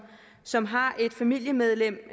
som har et familiemedlem